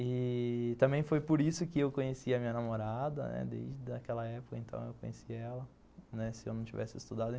E... também foi por isso que eu conheci a minha namorada, desde aquela época, então eu conheci ela, né, se eu não tivesse estudado.